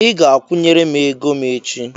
I ga-akwụnyere m ego m echi!